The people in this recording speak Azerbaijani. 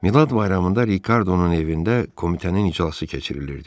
Milad bayramında Rikardonun evində komitənin iclası keçirilirdi.